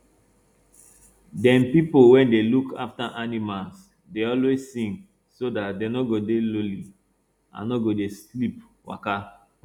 dem pipo wey dey look afta animals dey always sing so dat dem no go dey lonely and no go dey sleep waka